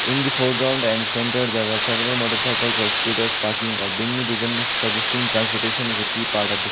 in the foreground and centre there are several motorcycles or scooters parking or being ridden suggesting transportation is a key part of the scene.